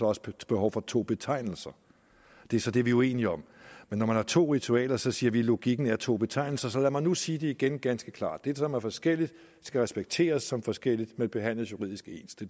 også behov for to betegnelser det er så det vi er uenige om men når man har to ritualer så siger vi at logikken er to betegnelser så lad mig nu sige det igen ganske klart det som er forskelligt skal respekteres som forskelligt men behandles juridisk ens det